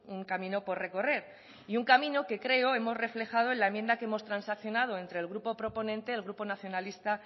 un camino por recorrer y un camino que creo hemos reflejado en la enmienda que hemos transaccionado entre el grupo proponente el grupo nacionalista